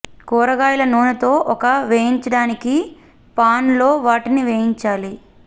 కూరగాయల నూనె తో ఒక వేయించడానికి పాన్ లో వాటిని వేయించాలి